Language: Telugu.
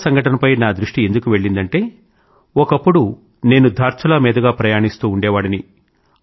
ధార్చులా సంఘటనపై నా దృష్టి ఎందుకు వెళ్లిందంటే ఒకప్పుడు నేను ధార్చులా మీదుగా ప్రయాణిస్తూ ఉండేవాడిని